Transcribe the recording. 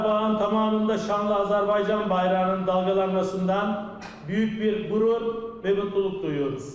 Qarabağın tamamında şanlı Azərbaycan bayrağının dalğalanmasından böyük bir qürur və mutluluq duyuruq.